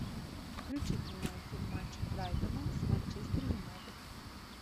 включи прямой эфир матча брайтона с манчестер юнайтед